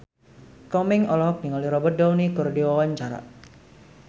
Komeng olohok ningali Robert Downey keur diwawancara